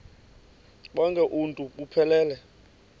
bonk uuntu buphelele